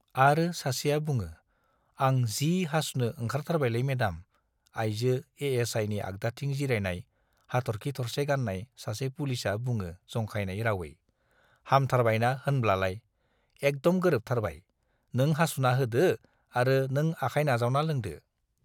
आरो सासेआ बुङो, आं जि हासुनो ओंखारथारबायलै मेडाम आइजो एएसआइनि आग्दाथिं जिरायनाय हाथर्खि थरसे गान्नाय सासे पुलिसआ बुङो जंखायनाय रावै, हामथारबायना होनब्लालाय, एकदम गोरोबथारबाय - नों हासुना होदो आरो नों आखाय नाजावना लोंदो।